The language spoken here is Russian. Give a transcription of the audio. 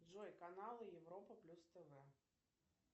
джой канал европа плюс тв